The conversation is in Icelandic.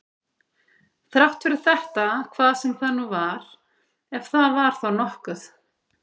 Þrátt fyrir þetta hvað sem það nú var, ef það var þá nokkuð.